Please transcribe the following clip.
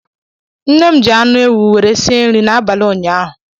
Nne m ji anu ewu were sie nri n'abali ụnyaahụ.